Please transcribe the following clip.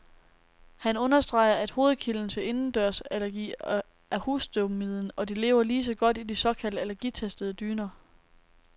Han understreger, at hovedkilden til indendørsallergi er husstøvmiden, og de lever lige så godt i de såkaldt allergitestede dyner.